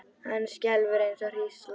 Hann skelfur eins og hrísla.